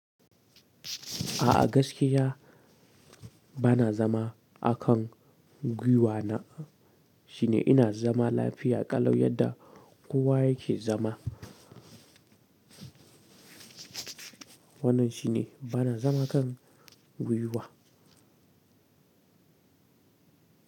A'a gaskiya ba na zama a kan gwiwa na shine ina zama lafiya ƙalau yadda kowa yake zama. Wannan shine bana zama kan gwiwa.